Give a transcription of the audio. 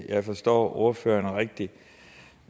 jeg har forstået ordføreren rigtigt